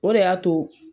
O de y'a to